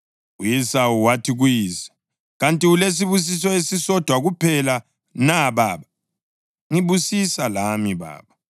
U-Esawu wathi kuyise, “Kanti ulesibusiso esisodwa kuphela na baba? Ngibusisa lami, baba!” U-Esawu wasekhala kakhulu ephumisela.